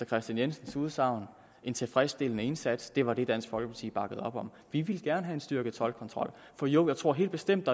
kristian jensens udsagn en tilfredsstillende indsats og det var det dansk folkeparti bakkede op om vi ville gerne have en styrket toldkontrol for jo jeg tror helt bestemt